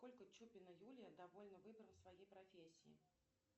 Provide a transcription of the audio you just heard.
насколько чупина юлия довольна выбором своей профессии